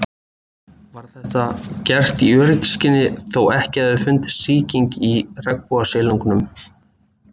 Var þetta gert í öryggisskyni þó að ekki hefði fundist sýking í regnbogasilungnum.